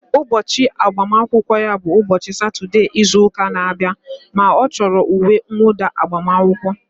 Ụbọchị agbamakwụkwọ ya bụ ụbọchị Satọdee izu ụka na-abịa ma ọ chọrọ uwe nwụda agbamakwụkwọ